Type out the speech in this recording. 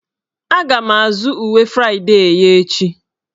Aga m azụ uwe Fraịdee ya echi.